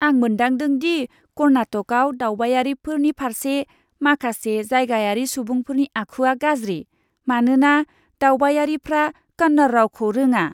आं मोनदांदों दि कर्नाटकआव दावबायारिफोरनि फारसे माखासे जायगायारि सुबुंफोरनि आखुआ गाज्रि, मानोना दावबायारिफ्रा कन्नड़ रावखौ रोङा!